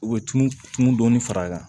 U bɛ tunu tunu dɔɔnin fara a kan